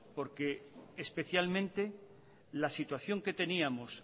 porque especialmente la situación que teníamos